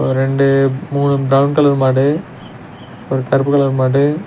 ரெண்டு மூணு brown colour மாடு ஒரு கருப்பு கலர் மாடு.